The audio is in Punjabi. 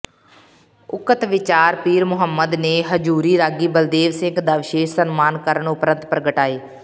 ਉਕਤ ਵਿਚਾਰ ਪੀਰਮੁਹੰਮਦ ਨੇ ਹਜ਼ੂਰੀ ਰਾਗੀ ਬਲਦੇਵ ਸਿੰਘ ਦਾ ਵਿਸ਼ੇਸ਼ ਸਨਮਾਨ ਕਰਨ ਉਪਰੰਤ ਪ੍ਰਗਟਾਏ